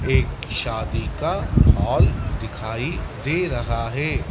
एक शादी का हॉल दिखाई दे रहा है।